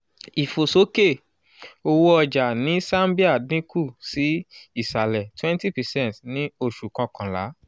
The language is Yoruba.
ìfòsókè owó-ọjà ní zambia dín kù sí ìsàlẹ̀ twenty percent ni oṣù kọkànlá